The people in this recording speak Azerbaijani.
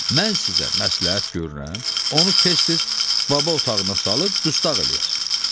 Mən sizə məsləhət görürəm, onu tez-tez baba otağına salıb dustaq eləyər.